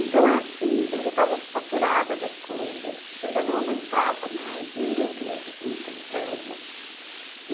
Então, é assim, eu já estava saturada das coisas, eu já não aguentava mais, ninguém queria ser síndico do prédio.